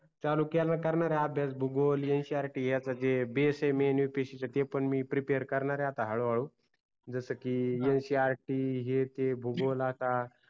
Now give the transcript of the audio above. चालू केल करणार आहे अभ्यास भूगोल ncrt याचा जे basement upsc चा ते पण मी prepare करणार आता हळु हळू जस की ncrt हे ते भूगोल आता